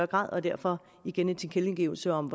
grad og derfor igen en tilkendegivelse om